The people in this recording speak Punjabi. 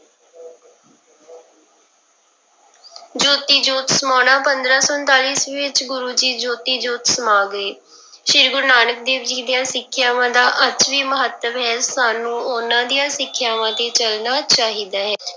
ਜੋਤੀ ਜੋਤ ਸਮਾਉਣਾ, ਪੰਦਰਾਂ ਸੌ ਉਣਤਾਲੀ ਈਸਵੀ ਵਿੱਚ ਗੁਰੂ ਜੀ ਜੋਤੀ ਜੋਤ ਸਮਾ ਗਏ, ਸ੍ਰੀ ਗੁਰੂ ਨਾਨਕ ਦੇਵ ਜੀ ਦੀਆਂ ਸਿੱਖਿਆਵਾਂ ਦਾ ਅੱਜ ਵੀ ਮਹੱਤਵ ਹੈ ਸਾਨੂੰ ਉਹਨਾਂ ਦੀਆਂ ਸਿੱਖਿਆਵਾਂ ਤੇ ਚੱਲਣਾ ਚਾਹੀਦਾ ਹੈ।